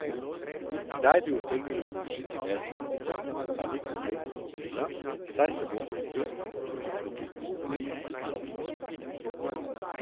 Kdaj bi utegnili vložiti nezaupnico, ni konkretno odgovorila, saj se bodo o tem in o drugih rokih pogovorili s poslanskimi skupinami.